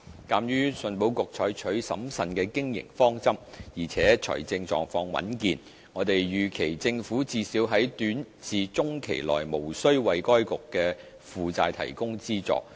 鑒於信保局採取審慎的經營方針，而且財政狀況穩健，我們預期政府最少在短至中期內無須為該局的負債提供資助。